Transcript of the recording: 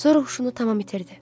Sonra huşunu tamam itirdi.